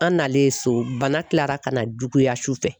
An nalen so bana kilara ka na juguya sufɛ.